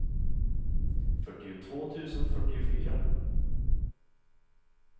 fyrtiotvå tusen fyrtiofyra